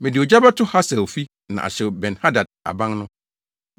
Mede ogya bɛto Hasael fi na ahyew Ben-Hadad aban no.